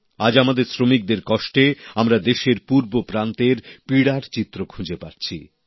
আজ আমাদের শ্রমিকদের কষ্টে আমরা দেশের পূর্ব প্রান্তের পীড়ার চিত্র খুঁজে পাচ্ছি